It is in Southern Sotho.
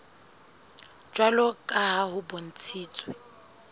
jwalo ka ha ho bontshitswe